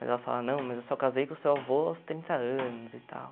Mas ela fala, não, mas eu só casei com o seu avô aos trinta anos e tal.